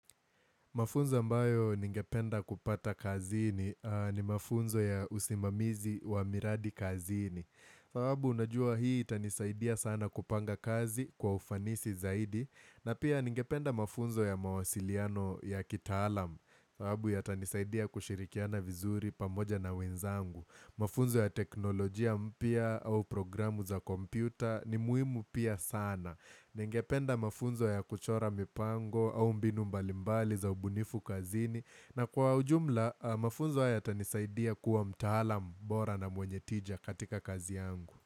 Mafunzo ambayo ningependa kupata kazini ni mafunzo ya usimamizi wa miradi kazini. Fawabu unajua hii itanisaidia sana kupanga kazi kwa ufanisi zaidi. Na pia ningependa mafunzo ya mawasiliano ya kitaalam. Fawabu ytanishidia kushirikiana vizuri pamoja na wenzangu. Mafunzo ya teknolojia mpya au programu za kompyuta ni muhimu pia sana. Ningependa mafunzo ya kuchora mipango au mbinu mbalimbali za ubunifu kazini na kwa ujumla mafunzo yatanisaidia kuwa mtahala bora na mwenye tija katika kazi yangu.